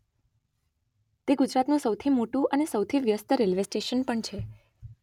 તે ગુજરાતનું સૌથી મોટું અને સૌથી વ્યસ્ત રેલ્વે સ્ટેશન પણ છે.